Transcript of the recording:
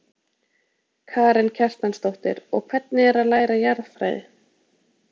Karen Kjartansdóttir: Og hvernig er að læra jarðfræði?